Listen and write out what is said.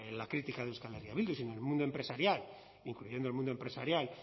la crítica de euskal herria bildu sino del mundo empresarial incluyendo el mundo empresarial